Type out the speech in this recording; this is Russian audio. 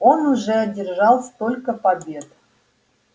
он уже одержал столько побед